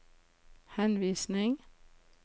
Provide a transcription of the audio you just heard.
henvisning